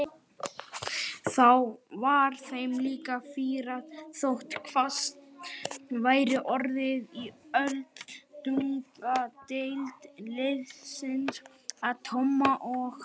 Þá var þeim líka fýrað þótt hvasst væri orðið og öldungadeild liðsins að Tomma og